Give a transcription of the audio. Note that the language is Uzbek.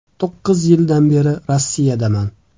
To‘qqiz yildan beri Rossiyadaman.